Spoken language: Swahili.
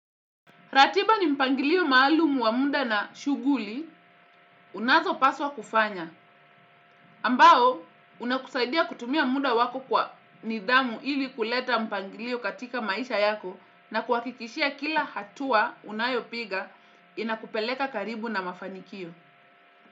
Ratiba ni mpangilio maalumu wa muda na shughuli, unazopaswa kufanya. Ambao, unakusaidia kutumia muda wako kwa nidhamu ili kuleta mpangilio katika maisha yako na kuhakikishia kila hatua unayopiga inakupeleka karibu na mafanikio.